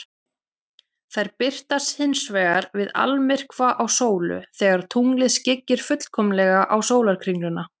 Þær birtast hins vegar við almyrkva á sólu, þegar tunglið skyggir fullkomlega á sólarkringluna.